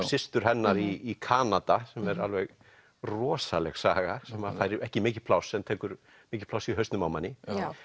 systur hennar í Kanada sem er alveg rosaleg saga sem fær ekki mikið pláss en tekur mikið pláss í hausnum á manni